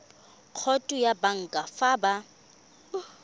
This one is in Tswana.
khoutu ya banka fa ba